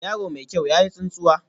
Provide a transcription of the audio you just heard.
Yaro mai kyau, ya yi tsantsuwa